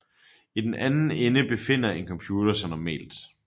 I den anden ende befinder en computer sig normalt